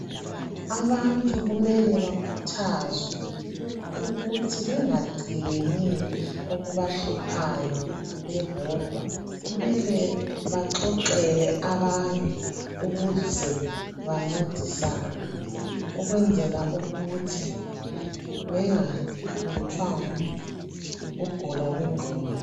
Abantu kumele bakhuthazwe ukuthi bengagcini okubahluphayo bebodwa kumele baxoxele abanye ukuze bancedisane ukwenzela ukuthi bengahlutshwa yikugula kwengqondo.